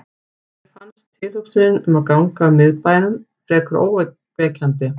Mér fannst tilhugsunin um að ganga um í miðbænum fremur ógnvekjandi.